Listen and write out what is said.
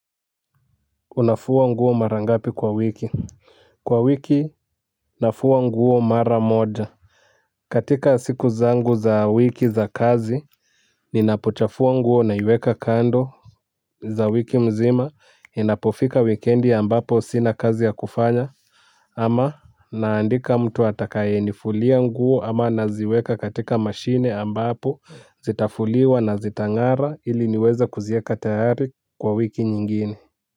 Unafua nguo mara ngapi kwa wiki. Kwa wiki nafua nguo mara moja. Katika siku zangu za wiki za kazi ninapochafua nguo naiweka kando. Za wiki mzima inapofika wikendi ambapo sina kazi ya kufanya. Ama naandika mtu atakayenifulia nguo ama naziweka katika mashine ambapo zitafuliwa na zitangara ili niweza kuzieka tayari kwa wiki nyingine.